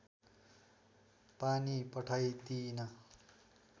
पानी पठाइदिइन